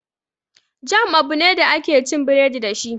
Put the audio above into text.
Jam abu ne da ake cin biredi dashi